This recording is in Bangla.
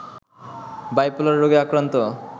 বাইপোলার রোগে আক্রান্ত